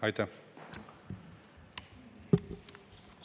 Aitäh!